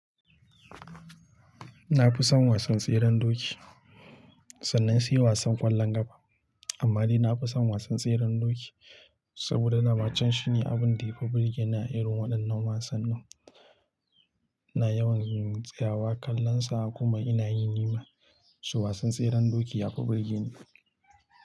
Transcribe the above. Na fi son wasan tseren doki sannan su yi wasan ƙwallon ƙafa. Amma ni na fi son wasan tseren doki saboda dama can shi ne abin da ya fi burge ni a irin waɗannan wasanni. Ina yawan yin tsayawa kallon sa kuma ina yi nima, shi wasan tseren doki ya fi burge ni.